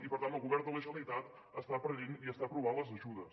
i per tant el govern de la generalitat està perdent i està aprovant les ajudes